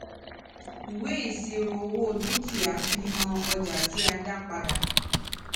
ìwé ìṣirò owó dúkìá fi hàn ọjà tí a dá padà